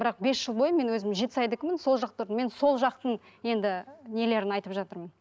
бірақ бес жыл бойы мен өзім жетісайдікімін сол жақта тұрдым мен сол жақтың енді нелерін айтып жатырмын